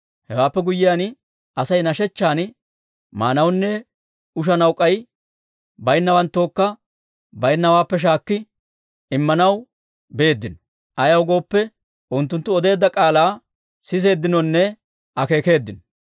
Hewaappe guyyiyaan, Asay nashechchaan maanawunne ushanaw k'ay baynnawanttookka de'iyaawaappe shaakki immanaw beeddino. Ayaw gooppe, unttunttu odeedda k'aalaa siseeddinonne akeekeeddino.